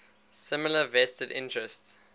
similar vested interests